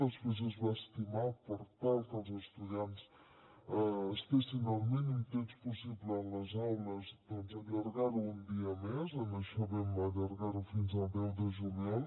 després es va estimar per tal que els estudiants estiguessin el mínim temps possible en les aules doncs allargar ho un dia més en això vam allargar ho fins al deu de juliol